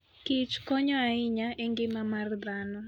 Kich konyo ahinya engima mar dhano.